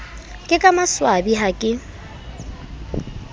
ke ka maswabi ha ke